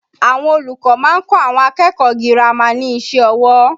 Àwọn olùkọ́ máa ń kọ́ àwọn akẹ́kọ̀ọ́ girama ní iṣẹ́ ọwọ́